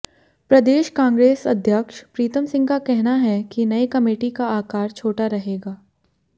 प्रदेश कांग्रेस अध्यक्ष प्रीतम सिंह का कहना है कि नई कमेटी का आकार छोटा रहेगा